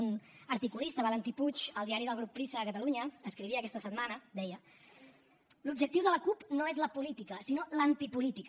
un articulista valentí puig al diari del grup prisa de catalunya escrivia aquesta setmana i deia l’objectiu de la cup no és la política sinó l’antipolítica